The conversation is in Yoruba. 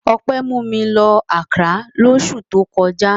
Ọpẹ́ mú mi lọ Accra lóṣù tó kọjá.